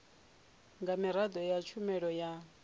nga miraḓo ya tshumelo ya